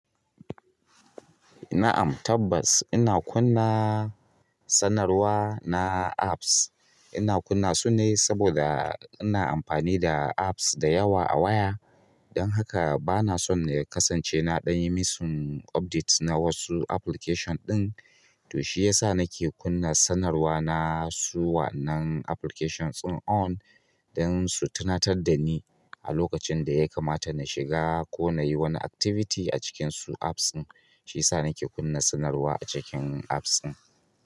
Na'am. Tabbas ina kunna sanarwa na apps. Ina kunna su ne saboda ina amfani da apps da yawa a waya. Don haka bana son ya kasance na ɗan yi missing updates na wasu application ɗin. To shi ya sa nake kunna sanarwa na su wa'annan application ɗin on don su tunatar da ni a lokacin da ya kamata na shiga ko na yi wani activity a cikin su apps din. Shiyasa nake kunna sanarwa a cikin apps ɗin.